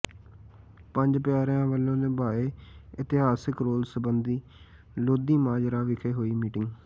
ਪੰਜ ਪਿਆਰਿਆਂ ਵੱਲੋਂ ਨਿਭਾਏ ਇਤਿਹਾਸਕ ਰੋਲ ਸਬੰਧੀ ਲੋਧੀਮਾਜਰਾ ਵਿਖੇ ਹੋਈ ਮੀਟਿੰਗ